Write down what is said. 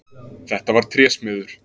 Þetta var trésmiður.